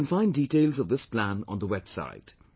You can find details of this plan on website